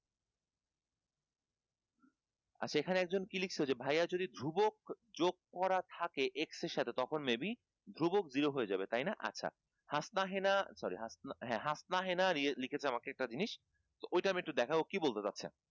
আচ্ছা এখানে একজন কি লিখছ যে ভাইয়া যদি ধ্রুবক যোগ করার থাকে x এর সাথে তখন maybe ধ্রুবক দৃঢ় হয়ে যাবে তাই না? আচ্ছা হাসনাহেনা sorry হ্যা হাসনাহেনা লিখেছে আমাকে একটা জিনিস ওইটা আমি একটু দেখাবো কি বলতে চাচ্ছে